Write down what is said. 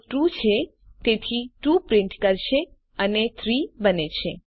તે ટ્રૂ છે તેથી 2 પ્રિન્ટ કરશે અને 3 બને છે